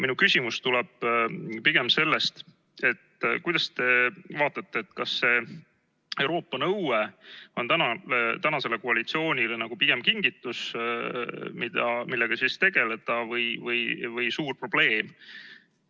Minu küsimus tuleneb pigem sellest, et kuidas te vaatate, kas Euroopa nõue on tänasele koalitsioonile pigem nagu kingitus, millega tegeleda, või suur probleem.